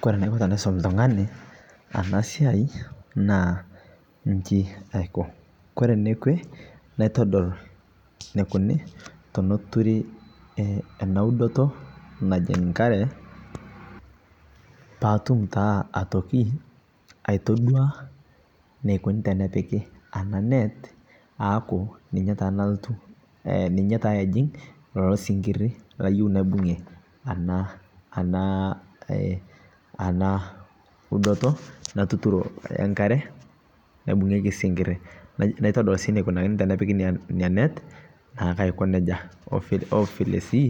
Kore naiko tanaisom ltung'ani anaa siai nchii aikoo kore nekwee naitodol neikuni tonoturii enaa udotoo najing' nkaree paatum taa atokii aitodua neikunii tenepikii anaa net aaku ninyee taa naltuu ninyee taa ejing' sinkirii layeu naibungie anaa udotoo natuturoo enkaree naibung'iekii sinkirii naitodol sii neikunakinii tenepiki inia net naake aiko nejaa ovikee sii